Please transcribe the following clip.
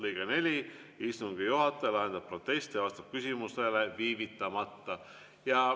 " Lõige 4: "Istungi juhataja lahendab protesti ja vastab küsimusele viivitamata.